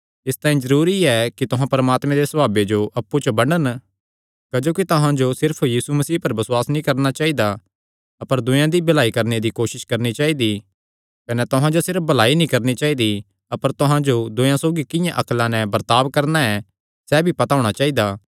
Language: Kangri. इसतांई जरूरी एह़ कि तुहां परमात्मे दे सभावे जो अप्पु च बंडन क्जोकि तुहां जो सिर्फ यीशु मसीह पर बसुआस नीं करणा चाइदा अपर दूयेयां दी भलाई करणे दी भी कोसस करणी चाइदी कने तुहां जो सिर्फ भलाई नीं करणी चाइदी अपर तुहां जो दूयेयां सौगी किंआं अक्ला नैं बर्ताब करणा ऐ सैह़ भी पता होणा चाइदा